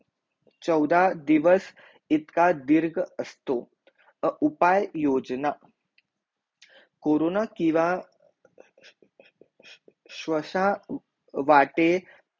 चौधा दिवस इतका धीरग असतो उपाहे योजना कोरोना किवा स्वस वाटे